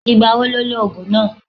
Ìgbà wo lo lo ògùn náà?